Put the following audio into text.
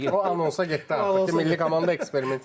O anonsa getdi artıq ki, milli komanda eksperiment yeri deyil.